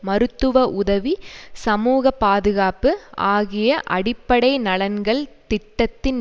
மருத்துவ உதவி சமூக பாதுகாப்பு ஆகிய அடிப்படை நலன்கள் திட்டத்தின்